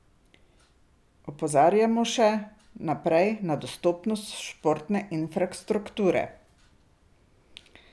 Opozarjamo še naprej na dostopnost športne infrastrukture.